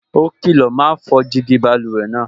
Ó kìlọ̀, "ma fọ́ jígí báluwẹ̀ náà"